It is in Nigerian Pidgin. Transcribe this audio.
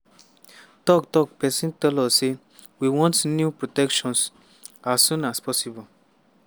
tok-tok pesin tell us say "we want new protections as soon as possible."